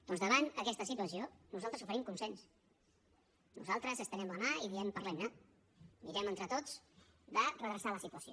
doncs davant d’aquesta situació nosaltres oferim consens nosaltres estenem la mà i diem parlem ne mirem entre tots de redreçar la situació